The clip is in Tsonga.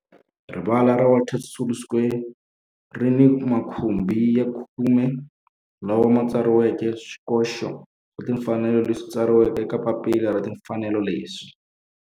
Rivala ra Walter Sisulu Square ri ni makhumbi ya khume lawa ma tsariweke swikoxo swa timfanelo leswi tsariweke eka papila ra timfanelo leswi